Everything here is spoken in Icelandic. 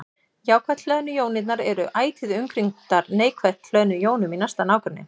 Jákvætt hlöðnu jónirnar eru ætíð umkringdar neikvætt hlöðnum jónum í næsta nágrenni.